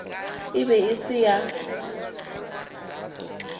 e be e se ya